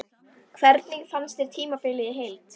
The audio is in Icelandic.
Hvernig fannst þér tímabilið í heild?